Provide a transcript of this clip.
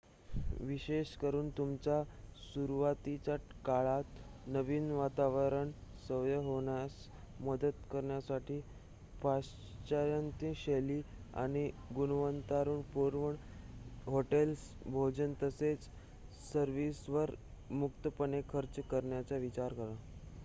विशेषेकरून तुमच्या सुरुवातीच्या काळात नवीन वातावरणाची सवय होण्यास मदत करण्यासाठी पाश्चात्य-शैली आणि-गुणवत्तापूर्ण हॉटेल्स भोजन तसेच सर्विसेसवर मुक्तपणे खर्च करण्याचा विचार करा